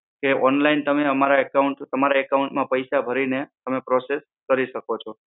કે online તમે અમારા account તમારા account માં પૈસા ભરી ને તમે process કરી શકો છો.